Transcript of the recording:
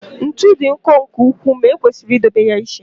ntu dị nkọ nke ukwuu ma ekwesịrị idobe ya iche